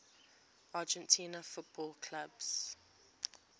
argentine football clubs